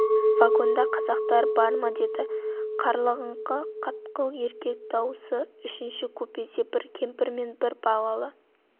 вагонда қазақтар бар ма деді қарлығыңқы қатқыл еркек дауысы үшінші купеде бір кемпір мен бір балалы